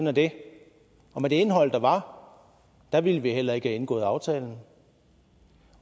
er det og med det indhold der var var ville vi heller ikke have indgået aftalen